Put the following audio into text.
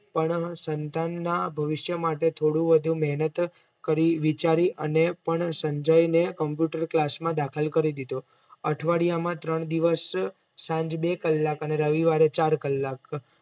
પણ સંતાનના ભવિષ્ય માટે થોડું વધુ મેહનત કરી વિચારી અને પણ સંજયને Computer class માં દાખલ કરી દીધો અઠવાડિયામાં ત્રણ દિવશ સાંજે બે કલાક અને રવિવારે ચાર કલાક